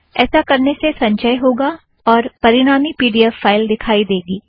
ऐसा करने से संचय होगा और परिणामी पी ड़ी एफ़ फ़ाइल दिखाई देगी